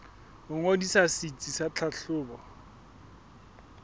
ho ngodisa setsi sa tlhahlobo